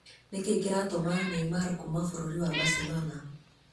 Nĩ kĩĩ kĩratũma Neymar kuuma Bũrũri wa Barcelona?